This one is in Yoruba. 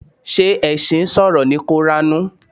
Ṣé ẹṣin sọ̀rọ̀ ní koranu?